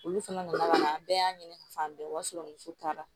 Olu fana nana ka na an bɛɛ y'a ɲini ka fan bɛɛ o y'a sɔrɔ muso taara